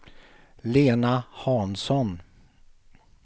Lena Hansson